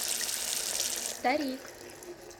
старик